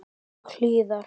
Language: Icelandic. Og hlýða.